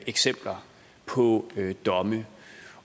eksempler på domme